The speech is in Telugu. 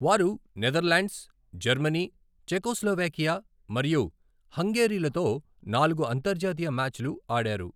వారు నెదర్లాండ్స్, జర్మనీ, చెకోస్లోవేకియా మరియు హంగేరీలతో నాలుగు అంతర్జాతీయ మ్యాచ్లు ఆడారు.